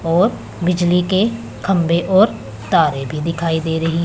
और बिजली के खंभे और तारे भी दिखाई दे रही --